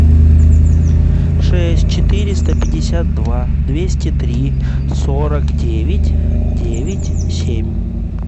шесть четыреста пятьдесят два двести три сорок девять девять семь